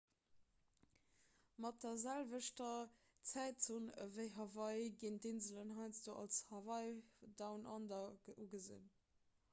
mat der selwechter zäitzon ewéi hawaii ginn d'inselen heiansdo als hawaii down under ugesinn